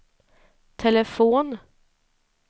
telefon